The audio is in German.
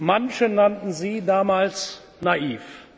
Manche nannten Sie damals naiv.